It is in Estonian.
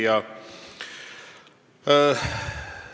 Hea küsija!